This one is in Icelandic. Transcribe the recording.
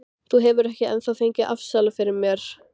Þú hefur ekki ennþá fengið afsal fyrir mér.